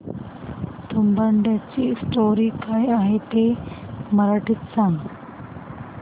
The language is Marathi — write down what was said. तुंबाडची स्टोरी काय आहे ते मराठीत सांग